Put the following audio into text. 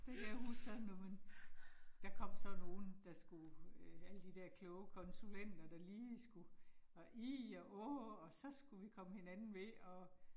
Det kan jeg huske sådan noget men, der kom sådan nogen, der skulle alle de der kloge konsulenter, der lige skulle og ih og åh og så skulle vi komme hinanden ved og